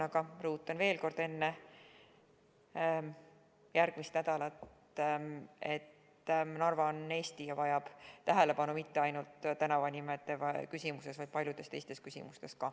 Aga rõhutan veel kord, enne järgmist nädalat, et Narva on Eesti ja vajab tähelepanu – mitte ainult tänavanimede küsimuses, vaid ka paljudes teistes küsimustes.